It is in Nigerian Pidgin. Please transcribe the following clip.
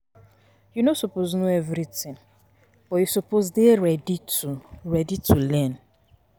You no suppose know everything but you suppose dey ready to ready to learn.